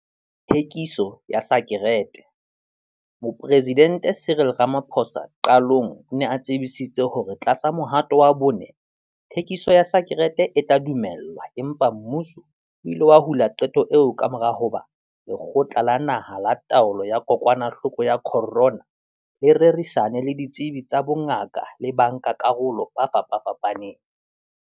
Thekiso ya sakereteMoporesidente Cyril Ramaphosa qalong o ne a tsebisitse hore tlasa Mohato wa Bone, thekiso ya sakerete e tla dumellwa empa mmuso o ile wa hula qeto eo kamora hoba Lekgotla la Naha la Taolo ya Kokwanahloko ya Corona le rerisane le ditsebi tsa bongaka le bankakarolo ba fapafapaneng.